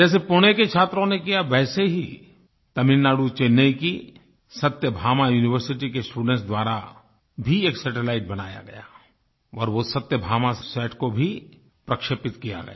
जैसे पुणे के छात्रों ने किया वैसे ही तमिलनाडु चेन्नई की सत्यभामा यूनिवर्सिटी के स्टूडेंट्स द्वारा भी एक सैटेलाइट बनाया गया और वो सत्यबामासात को भी प्रक्षेपित किया गया